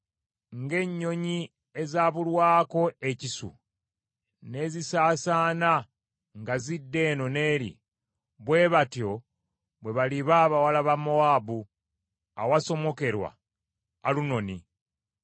Ng’ennyonyi ezabulwako ekisu n’ezisaasaana nga zidda eno n’eri, bwe batyo bwe baliba abawala ba Mowaabu awasomokerwa Alunooni.